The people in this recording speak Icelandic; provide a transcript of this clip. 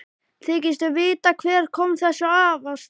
Þykistu vita hver kom þessu af stað?